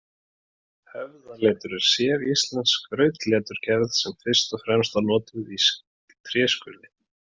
Höfðaletur er séríslensk skrautleturgerð sem fyrst og fremst var notuð í tréskurði.